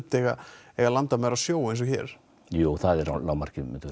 eiga eiga landamæri á sjó eins og hér jú það er lágmarkið myndum